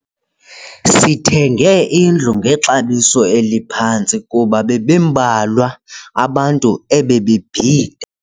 Sithenge indlu ngexabiso eliphantsi kuba bebembalwa abantu ebebebhida.